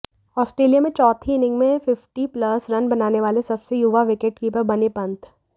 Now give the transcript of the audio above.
Australia में चौथी inning में फिफ्टी प्लस रन बनाने वाले सबसे युवा विकेटकीपर बने पंत